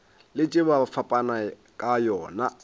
letše ba fapana ka yona